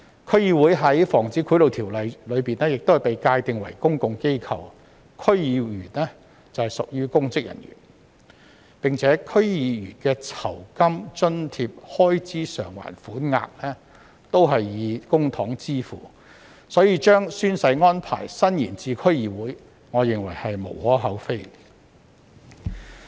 區議會在《防止賄賂條例》下被界定為公共機構，區議員則屬公職人員，而且區議員的酬金、津貼和開支償還款額均以公帑支付，所以我認為將宣誓安排伸延至區議會實在無可厚非。